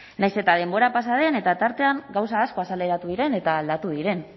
nahiz eta denbora pasa den eta tartean gauza asko azaleratu diren eta aldatu diren